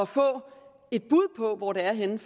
få et bud på hvor det er henne